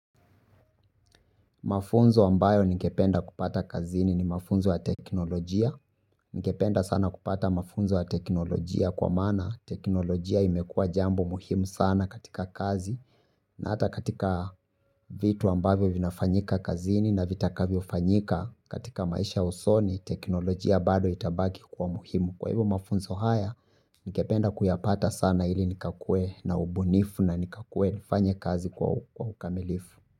Mafunzo ambayo ningependa kupata kazini ni mafunzo ya teknolojia. Ningependa sana kupata mafunzo ya teknolojia kwa maana teknolojia imekua jambo muhimu sana katika kazi. Na hata katika vitu ambavyo vinafanyika kazini na vitakavyo fanyika katika maisha ya usoni teknolojia bado itabaki kuwa muhimu. Kwa hivyo mafunzo haya ningependa kuyapata sana ili nikakuwe na ubunifu na nikakue nifanye kazi kwa ukamilifu.